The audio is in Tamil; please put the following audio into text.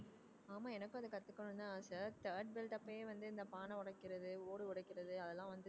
ஆமா எனக்கும் அதை கத்துக்கணும்னுதான் ஆசை third belt அப்பவே வந்து இந்த பானை உடைக்கிறது ஓடு உடைக்கிறது அதெல்லாம் வந்து